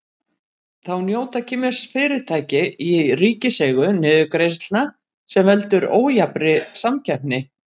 Þá njóta kínversk fyrirtæki í ríkiseigu niðurgreiðslna sem veldur ójafnri samkeppni.